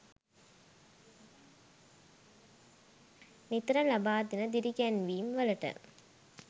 නිතර ලබා දෙන දිරිගැන්වීම් වලට.